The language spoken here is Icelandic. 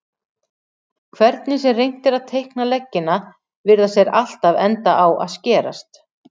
Hvernig sem reynt er að teikna leggina virðast þeir alltaf enda á að skerast.